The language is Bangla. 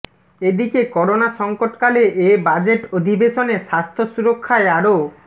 এদিকে করোনা সংকটকালে এ বাজেট অধিবেশনে স্বাস্থ্য সুরক্ষায় আরও